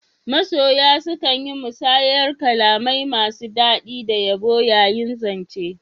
Masoya sukan yi musayar kalamai masu dadi da yabo yayin zance.